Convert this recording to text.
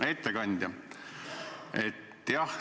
Hea ettekandja!